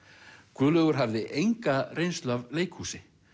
Guðlaugur hafði enga reynslu af leikhúsi